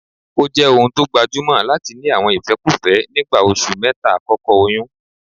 Ó jẹ́ ohun tó gbajúmọ̀ láti ní àwọn ìfẹ́kúfẹ́ nígbà oṣù mẹ́ta àkọ́kọ́ oyún